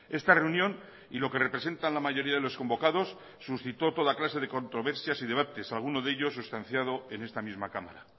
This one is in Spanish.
esta reunión y lo que representan la mayoría de los convocados suscitó toda clase de controversias y debates algunos de ellos sustanciado en esta misma cámara